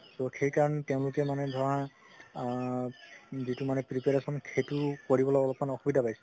সেইকাৰণে তেওঁলোকে মানে ধৰা আ যিতো মানে preparation সেইটো কৰিবলৈ অকমাণ অসুবিধা পাইছে